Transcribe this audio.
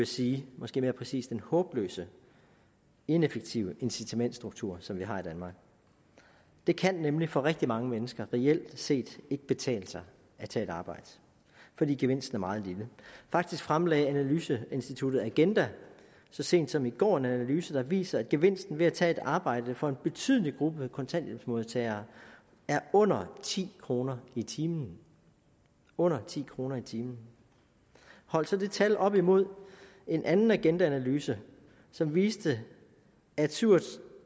sige måske mere præcist den håbløse ineffektive incitamentsstruktur som vi har i danmark det kan nemlig for rigtig mange mennesker reelt set ikke betale sig at tage et arbejde fordi gevinsten er meget lille faktisk fremlagde analyseinstituttet agenda så sent som i går en analyse der viser at gevinsten ved at tage et arbejde for en betydelig gruppe af kontanthjælpsmodtagere er under ti kroner i timen under ti kroner i timen hold så det tal op imod en anden agendaanalyse som viste at syv og